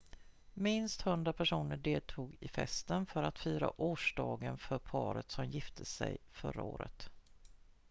minst 100 personer deltog i festen för att fira årsdagen för paret som gifte sig förra året